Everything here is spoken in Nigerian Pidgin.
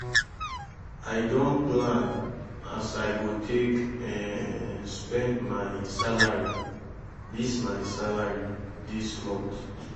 i don plan as i go take um spend my salary dis my salary dis month.